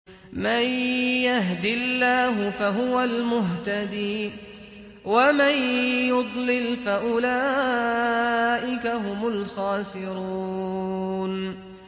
مَن يَهْدِ اللَّهُ فَهُوَ الْمُهْتَدِي ۖ وَمَن يُضْلِلْ فَأُولَٰئِكَ هُمُ الْخَاسِرُونَ